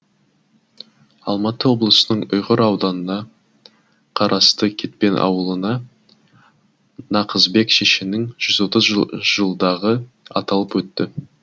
алматы облысының ұйғыр ауданына қарасты кетпен ауылында нақысбек шешеннің жүз отыз жылдығы аталып өтті